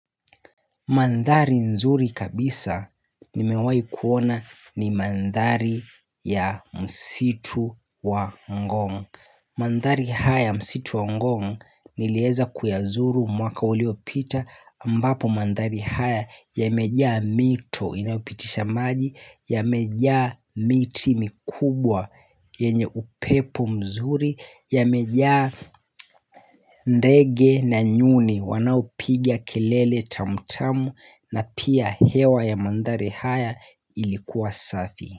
Mandhari nzuri kabisa nimewahi kuona ni mandari ya msitu wa ngong. Mandhari haya y msitu wa ngong niliweza kuyazuru mwaka uliopita ambapo mandhari haya yamejaa mito inayopitisha maji, yamejaa miti mikubwa yenye upepo mzuri, yamejaa nrdge na nyuni wanaopiga kelele tamu tamu na pia hewa ya mandhari haya ilikuwa safi.